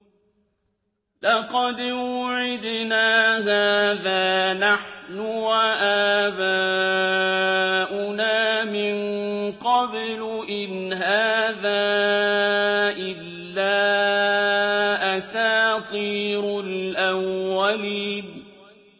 لَقَدْ وُعِدْنَا هَٰذَا نَحْنُ وَآبَاؤُنَا مِن قَبْلُ إِنْ هَٰذَا إِلَّا أَسَاطِيرُ الْأَوَّلِينَ